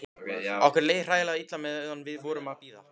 Okkur leið hræðilega illa meðan við vorum að bíða.